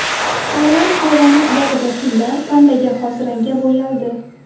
Tailand hayvonot bog‘ida fillar pandaga xos rangga bo‘yaldi .